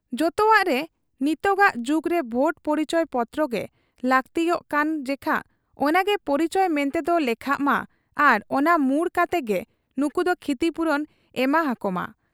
ᱡᱚᱛᱚᱣᱟᱜᱨᱮ ᱱᱤᱛᱚᱜᱟᱜ ᱡᱩᱜᱽᱨᱮ ᱵᱷᱳᱴ ᱯᱚᱨᱤᱪᱚᱭ ᱯᱚᱛᱨᱚᱜᱮ ᱞᱟᱹᱠᱛᱤᱜ ᱠᱟᱱ ᱡᱮᱠᱷᱟ ᱚᱱᱟᱜᱮ ᱯᱚᱨᱤᱪᱚᱭ ᱢᱮᱱᱛᱮᱫᱚ ᱞᱮᱠᱷᱟᱜ ᱢᱟ ᱟᱨ ᱚᱱᱟ ᱢᱩᱬ ᱠᱟᱛᱮᱜᱮ ᱱᱩᱠᱩᱫᱚ ᱠᱷᱤᱛᱤᱯᱩᱨᱚᱱ ᱮᱢᱟᱦᱟᱠᱚᱢᱟ ᱾